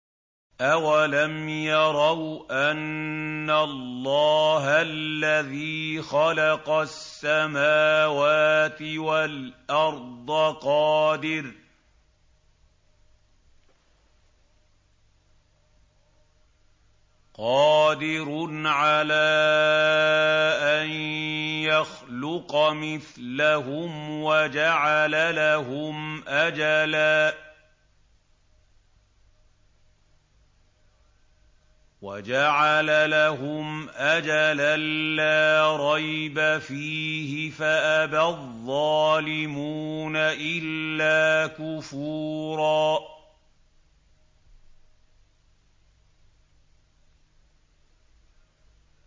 ۞ أَوَلَمْ يَرَوْا أَنَّ اللَّهَ الَّذِي خَلَقَ السَّمَاوَاتِ وَالْأَرْضَ قَادِرٌ عَلَىٰ أَن يَخْلُقَ مِثْلَهُمْ وَجَعَلَ لَهُمْ أَجَلًا لَّا رَيْبَ فِيهِ فَأَبَى الظَّالِمُونَ إِلَّا كُفُورًا